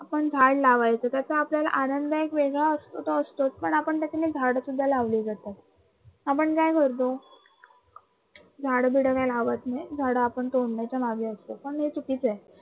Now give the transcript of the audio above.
पण झाडं लावायचं त्याचा आपल्याला आनंद एक वेगळा असतो. झाडं सुद्धा लावलेले असतात. आपण काय करतो झाडं गिड काही लावत नाही झाडं आपण तोडण्याच्या मागे असतो आणि हे तर ठीक आहे